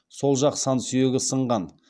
сол жақ сан сүйегі сынған